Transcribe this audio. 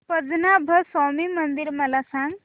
पद्मनाभ स्वामी मंदिर मला सांग